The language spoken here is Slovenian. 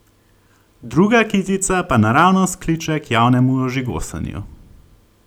Druga kitica pa naravnost kliče k javnemu ožigosanju!